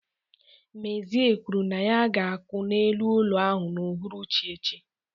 Mezie kwuru na ya ga-akụ n'elu ụlọ ahụ n'uhuruchi echi.